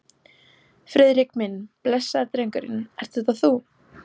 Friðrik minn, blessaður drengurinn, ert þetta þú?